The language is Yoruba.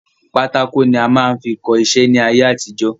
Pátákò ni a máa fín kọ iṣẹ́ ni ayé àtijọ́.